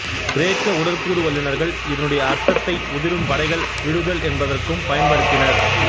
கிரேக்க உடற்கூறு வல்லுநர்கள் இதனுடைய அர்த்தத்தை உதிரும் படைகள் விழுதல் என்பதற்கும் பயன்படுத்தினர்